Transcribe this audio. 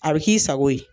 A bɛ k'i sago ye